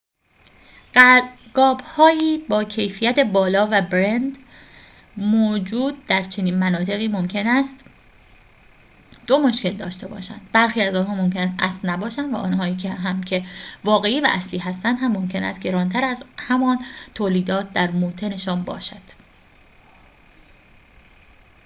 قاب‌های با کیفیت بالا و برند موجود در چنین مناطقی ممکن است دو مشکل داشته باشند برخی از آنها ممکن است اصل نباشد و آنهایی هم که واقعی و اصلی هستند هم ممکن است گران‌تر از همان تولیدات در موطن‌شان باشد